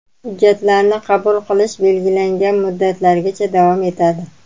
Hujjatlarni qabul qilish belgilangan muddatlargacha davom etadi.